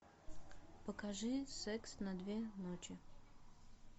покажи секс на две ночи